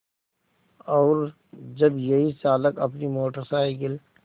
और जब यही चालक अपनी मोटर साइकिल